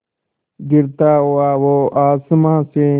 गिरता हुआ वो आसमां से